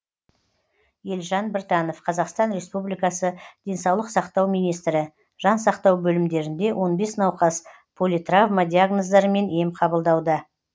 елжан біртанов қазақстан республикасы денсаулық сақтау министрі жан сақтау бөлімдерінде он бес науқас политравма диагноздарымен ем қабылдауда